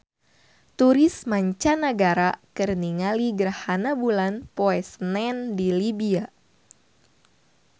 Turis mancanagara keur ningali gerhana bulan poe Senen di Libya